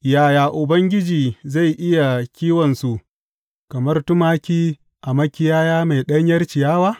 Yaya Ubangiji zai iya kiwonsu kamar tumaki a makiyaya mai ɗanyar ciyawa?